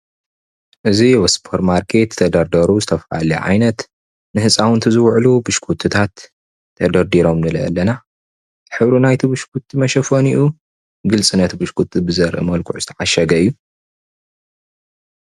እዚ ኣብ ስፖርማርኬት ተደርዲሩ ዝተፈላለየ ዓይነት ንህፃውንቲ ዝውዕሉ ብሽኩትታት ተደርድሮም ንርኢለና ሕብሪ ናይቲ ብሽኩቲ መሸፈኒኡ ግልፅነት ብሽኩቲ ብዘርኢ መልክዑ ተዓሸገ እዩ።